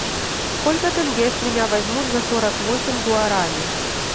сколько тенге с меня возьмут за сорок восемь гуарани